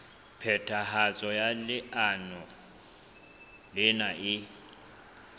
phethahatso ya leano lena e